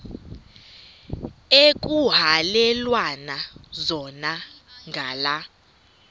ekuhhalelwana zona ngala